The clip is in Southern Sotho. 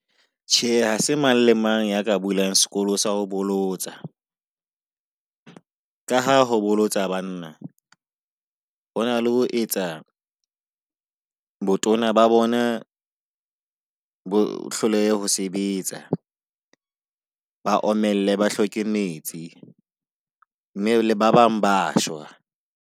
Tjhe, ha se mang le mang ya ka bulang sekolo sa ho bolotsa . Ka ha ho bolotsa banna hona le ho etsa botona ba bona bo hlolehe ho sebetsa. Ba omelle, ba hloke metsi mme ba bang ba shwa.